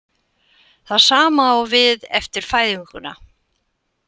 Það sama á við eftir fæðinguna.